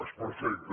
és perfecte